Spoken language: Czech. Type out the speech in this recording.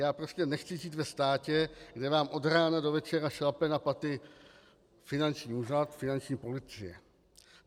Já prostě nechci žít ve státě, kde vám od rána do večera šlape na paty finanční úřad, finanční policie.